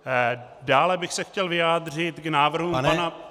Dále bych se chtěl vyjádřit k návrhu pana -